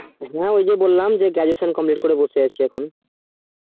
হুম ওই যে বললাম graduation complete করে বসে আছি